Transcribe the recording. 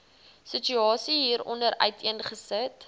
situasie hieronder uiteengesit